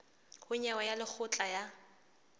ho nyewe ya lekgotla la